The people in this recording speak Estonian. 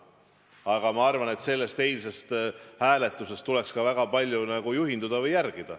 Aga ma arvan, et sellest eilsest hääletusest tuleks ka väga palju juhinduda.